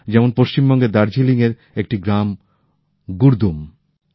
যেমন পশ্চিমবঙ্গের দার্জিলিংয়ের একটি গ্রাম গুরদুম